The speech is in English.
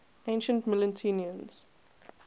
ancient mytileneans